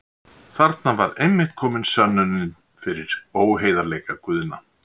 Þarna væri einmitt komin sönnunin fyrir óheiðarleika Guðna.